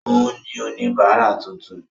Òun ni oníbárà tuntun.